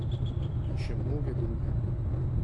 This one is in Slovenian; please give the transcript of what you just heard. In še mnoge druge.